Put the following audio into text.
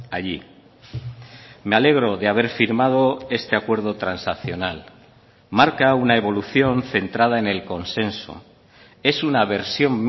allí me alegro de haber firmado este acuerdo transaccional marca una evolución centrada en el consenso es una versión